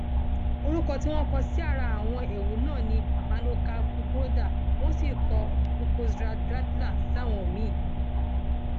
orúkọ tí wọn kọ sára àwọn ewu náà ni marnorrca buchroeder wọn sì kọ buchózradrátlà sáwọn míín